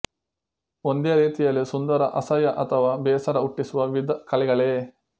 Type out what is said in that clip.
ಒಂದೇ ರೀತಿಯಲ್ಲಿ ಸುಂದರ ಅಸಹ್ಯ ಅಥವಾ ಬೇಸರ ಹುಟ್ಟಿಸುವ ವಿವಿಧ ಕಲೆಗಳೇ